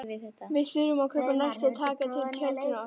Við þurfum að kaupa nesti og taka til tjöldin og.